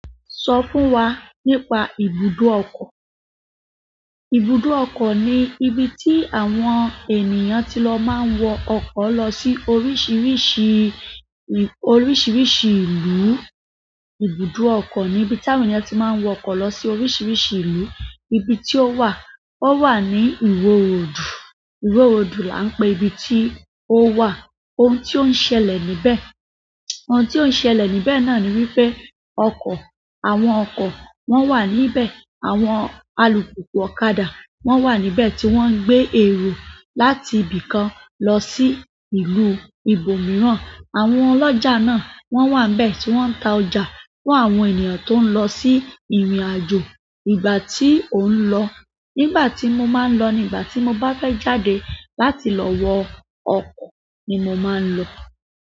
Sọ fún wa nípa ibùdó ọkọ̀. Ibùdó ọkọ̀ ni ibi tí àwọn ènìyàn ti lọ máa ń wọ ọkọ̀ lọ sí oríṣiríṣi, oríṣiríṣi ìlú. Ibùdó ọkọ̀ ni ibi tí àwọn ènìyàn ti máa ń wọ ọkọ̀ lọ sí oríṣiríṣi ìlú. Ibi tí ó wà, ó wà ní ìwò roòdù. Ìwò roòdù la ń pe ibi tí ó wà. Ohun tí ó ń ṣẹlẹ̀ níbẹ̀, ohun tí ó ń ṣẹlẹ̀ níbẹ̀ náà ni wípé ọkọ̀, àwọn ọkọ̀ wọ́n wà níbẹ̀, àwọn alùpùpù ọ̀kadà wọ́n wà níbẹ̀ tí wọ́n ń gbé èrò láti ibì kan lọ sí ìlú ibòmíràn. Àwọn ọlọ́jà náà wọ́n wà níbẹ̀ tí wọ́n ń ta ọjà fún àwọn ènìyàn tó ń lọ sí ìrìnàjò. Ìgbà tí ó ń lọ, nígbà tí mo máa ń lọ ni ìgbà tí mo bá fẹ́ jáde láti lọ wọ ọkọ̀ ni mo máa ń lọ.